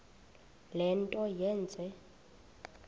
le nto yenze